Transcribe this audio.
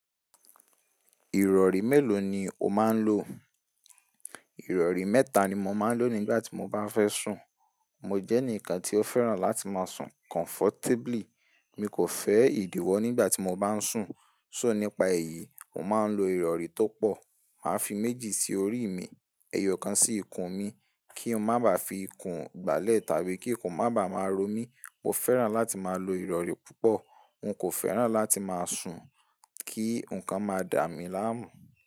Ìrọ̀rí mélòó ni o máa ń lo? Ìrọ̀rí mẹ́ta ni mo máa ń lò nígbà tí mo bá fẹ́ sùn. Mo jẹ́ ẹnìkan tí ó fẹ́ràn láti máa sùn comfortably. Mi kò fẹ́ ìdíwọ́ nígbà tí mo bá ń sùn. So nípa èyí, mo máa ń lo ìrọ̀rí tó pọ̀. Máa fi méjì sí orí mi, ẹyọ̀kan sí ikùn mi, kí n má bà fi ikùn gbálẹ̀ tàbí kí ikùn má bà máa ro mí. Mo fẹ́ràn láti máa lo ìrọ̀rí púpọ̀. N kò fẹ́ràn láti máa sùn kí nǹkan máa dà mi láàmú.